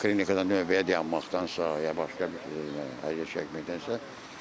Klinikada növbəyə dayanmaqdansa, ya başqa bir, əziyyət çəkməkdənsə,